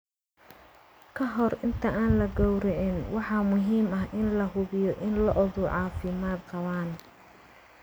Ka hor inta aan la gowracin, waxaa muhiim ah in la hubiyo in lo'du caafimaad qabaan.